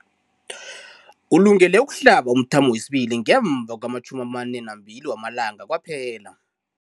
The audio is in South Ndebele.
Ulungele ukuhlaba umthamo wesibili ngemva kwama-42 wamalanga kwaphela.